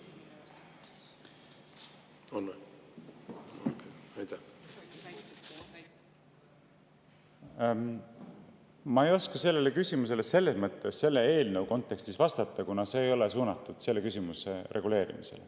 Selle eelnõu kontekstis ma ei oska sellele küsimusele vastata, kuna see ei ole suunatud selle küsimuse reguleerimisele.